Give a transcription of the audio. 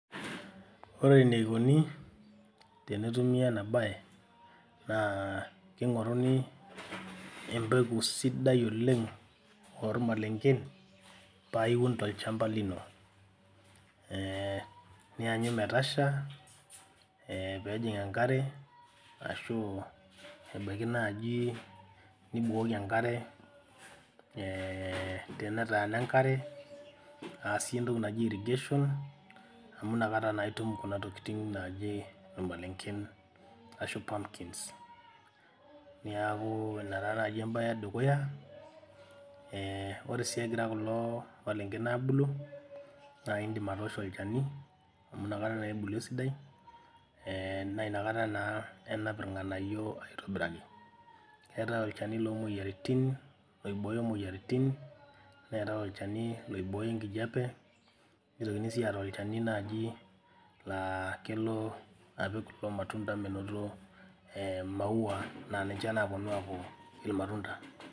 Ore eneikoni tenetumi ena baye naa king'oruni empeku sidai oleng ormalengen paa iun tolchamba lino eh nianyu metasha eh peejing enkare ashu ebaiki naaji nibukoki enkare eh tenetaana enkare aasie entoki naji irrigation amu inakata naa itum kuna tokiting naaji irmalengen ashu pumpkins niaku ina taa naaji embaye edukuya eh ore sii egira kulo malengen abulu naa indim atoosho olchani amu inakata naa ebulu esidai eh naa inakata naa enap irng'anayio aitobirai keetae olchani lomoyiaritin loibooyo moyiaritin neetae olchani loibooyo enkijape nitokini sii aata olchani naaji laa kelo apik kulo matunda menoto eh imaua naa ninche naponu aaku irmatunda.